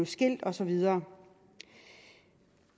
skilt og så videre